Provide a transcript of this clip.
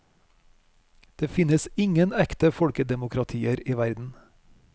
Det finnes ingen ekte folkedemokratier i verden.